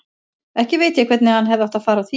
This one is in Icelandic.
Ekki veit ég hvernig hann hefði átt að fara að því.